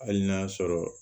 Hali n'a sɔrɔ